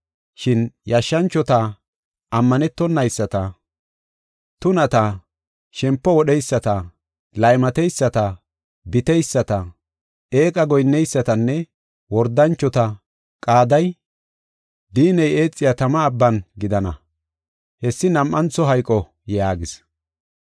Shin yashshanchota, ammanetonayisata, tunata, shempo wodheyisata, laymateyisata, biteyisata, eeqa goyinneysatanne wordanchota qaaday diinney eexiya tama abban gidana. Hessi nam7antho hayqo” yaagis.